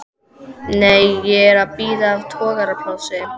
Nei, ég er að bíða eftir togaraplássi.